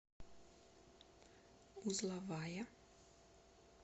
узловая